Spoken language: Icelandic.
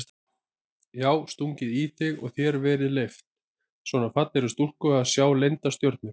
Já stungið í þig og þér verið leyft, svona fallegri stúlku að sjá leyndar stjörnur?